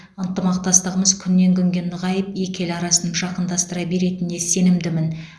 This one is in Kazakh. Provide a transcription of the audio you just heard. ынтымақтастығымыз күннен күнге нығайып екі ел арасын жақындастыра беретініне сенімдімін